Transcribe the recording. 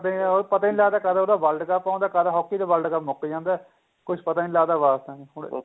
ਉਹ ਪਤਾ ਨੀਂ ਕਦ ਉਹਦਾ world ਕਪ ਆਂਦਾ ਕਦ hockey ਦਾ world ਕਪ ਮੁੱਕ ਜਾਂਦਾ ਕੁੱਝ ਪਤਾ ਨੀਂ ਲੱਗਦਾ ਵਾਸਤਾ ਨੀਂ ਹੁਣ